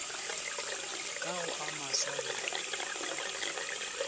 ka go a maswa le